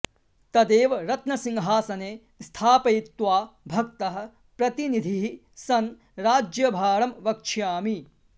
तदेव रत्नसिंहासने स्थापयित्वा भक्तः प्रतिनिधिः सन् राज्यभारं वक्ष्यामि